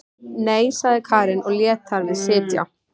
Nei, sagði Karen og lét þar við sitja.